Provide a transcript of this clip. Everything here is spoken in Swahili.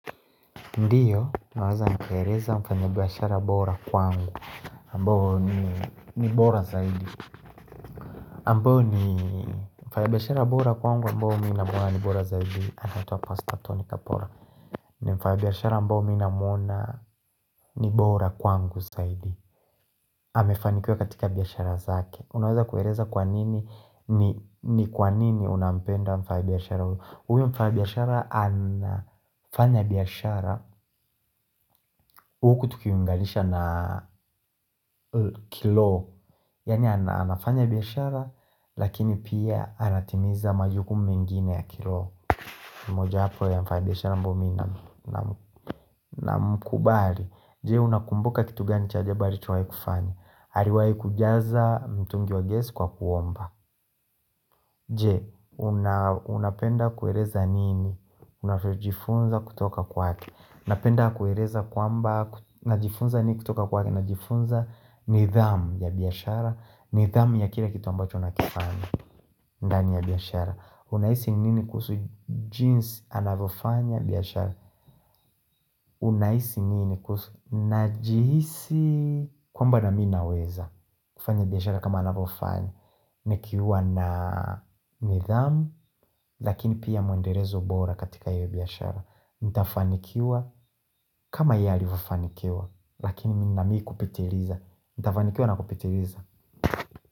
Ndiyo, naweza nikaeleza mfanya biashara bora kwangu ambao ni bora zaidi ambao ni mfanyabiashara bora kwangu ambao mi namuona ni bora zaidi anaitwa pastor Tony Kapora ni mfanyabiashara ambao mi namuona ni bora kwangu zaidi amefanikiwa katika biashara zake Unaweza kueleza kwa nini ni kwa nini unampenda mfanyabiashara huyo huyo mfanyibiashara anafanya biashara huku tukilinganisha na kiroho Yaani anafanya biashara Lakini pia anatimiza majukumu mengine ya kiroho mmoja wapo ya mfanyibiashara ambao mi namkubali Je unakumbuka kitu gani chajeba alichowahi kufanya aliwahi kujaza mtungi wa gesi kwa kuomba Je unapenda kueleza nini unavyojifunza kutoka kwake napenda kueleza kwamba Najifunza nini kutoka kwake Najifunza nidhamu ya biashara nidhamu ya kila kitu ambacho nakifanya ndani ya biashara Unahisi nini kuhusu jinsi anavofanya biashara Unahisi nini kuhusu Najihisi kwamba nami naweza kufanya biashara kama anavofanya Nikiwa na nidhamu Lakini pia mwendelezo bora katika hio biashara Ntafanikiwa kama yalivyofanikiwa Lakini mi naamini kupitiliza Ntafanikiwa na kupitiliza.